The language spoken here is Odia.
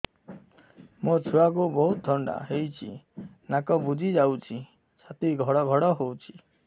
ମୋ ଛୁଆକୁ ବହୁତ ଥଣ୍ଡା ହେଇଚି ନାକ ବୁଜି ଯାଉଛି ଛାତି ଘଡ ଘଡ ହଉଚି